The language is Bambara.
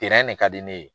de ka di ne ye